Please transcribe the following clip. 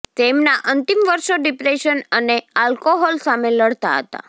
તેમના અંતિમ વર્ષો ડિપ્રેશન અને આલ્કોહોલ સામે લડતા હતા